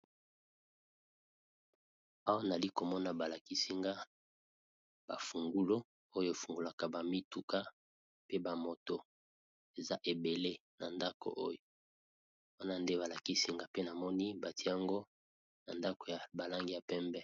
Awa nayali komona balakisi nga ba fungulo oyo efungulaka ba mituka pe ba moto eza ebele na ndako oyo wana nde balakisi nga pe namoni batye yango na ndako ya balangi ya pembe.